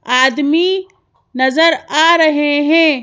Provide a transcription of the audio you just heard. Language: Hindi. आदमी नजर आ रहे हैं।